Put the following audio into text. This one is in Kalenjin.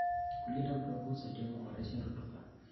Kulinda udongo husaidia kuboresha rutuba.